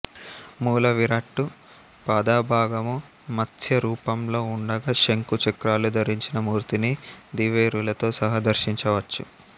మూల విరాట్టు పాదభాగము మత్స్య రూపంలో ఉండగా శంఖు చక్రాలు ధరించిన మూర్తిని దేవేరులతో సహా దర్శించ వచ్చు